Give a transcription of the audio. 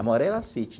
A maioria era sítio.